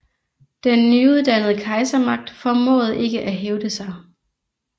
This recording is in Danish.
Den nydannede kejsermagt formåede ikke at hævde sig